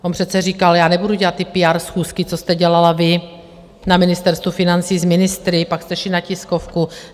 On přece říkal: já nebudu dělat ty PR schůzky, co jste dělala vy na Ministerstvu financí s ministry, pak jste šli na tiskovku.